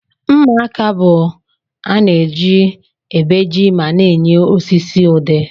Mma aka bu ana eji ebeji ma na enye osisi udi.